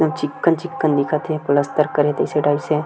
chicken-chicken दिखत हे plaster करे जैसी टाइप से --